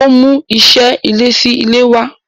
Ó ń mú iṣé ilé sílé wá.